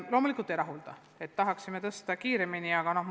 Loomulikult see ei rahulda kõiki, me tahaksime suurendada rahaeraldisi kiiremini.